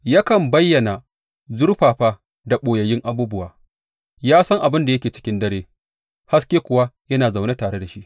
Yakan bayyana zurfafa da ɓoyayyun abubuwa; ya san abin da yake cikin dare, haske kuwa yana zaune tare da shi.